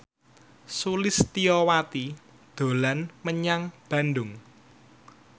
Sulistyowati dolan menyang Bandung